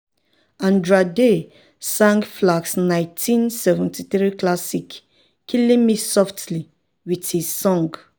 andra day sang flack's 1973 classic "killing me softly with his song."